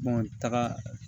taga